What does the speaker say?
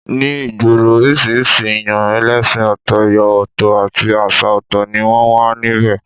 Ní ìgboro, oríṣiríṣi èyàn ẹlẹ́sìn ọ̀tọ̀, ẹ̀yà ọ̀tọ̀ àti àṣà ọ̀tọ̀ ni wọ́n wà níbẹ̀